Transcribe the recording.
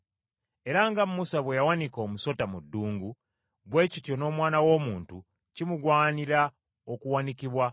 Era nga Musa bwe yawanika omusota mu ddungu, bwe kityo n’Omwana w’Omuntu kimugwanira okuwanikibwa,